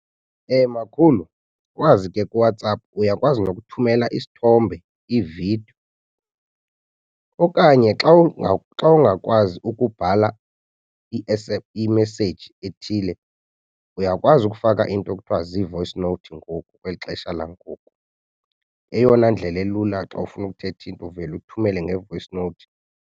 Makhulu ukwazi ke kuWhatsApp uyakwazi nokuthumela isithombe, iividiyo okanye xa xa ungakwazi ukubhala imeseyiji ethile, uyakwazi ukufaka into ekuthiwa zii-voice note ngoku kweli xesha langoku. Eyona ndlela elula xa ufuna ukuthetha into uvele uthumele nge-voice note.